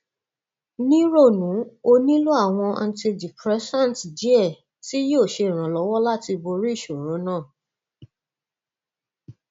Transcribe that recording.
àrùn jẹjẹrẹ tó bá ti tó bá ti tàn dé apá ibòmíràn nínú ara kì í ṣe àmì rere